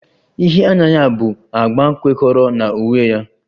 Ihe anya ya bụ agba kwekọrọ na uwe ya